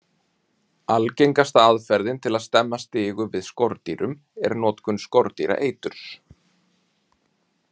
Algengasta aðferðin til að stemma stigu við skordýrum er notkun skordýraeiturs.